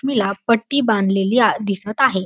पट्टी बांधलेली आ दिसत आहे.